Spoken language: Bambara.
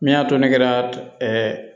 Min y'a to ne kɛra